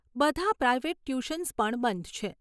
બધા private tuitions પણ બંધ છે.